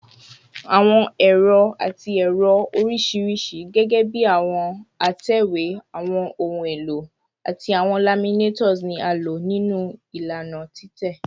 Awọn ẹrọ ati ẹrọ oriṣiriṣi, gẹgẹbi awọn atẹwe, awọn ohun elo, ati awọn laminators, ni a lo ninu ilana titẹ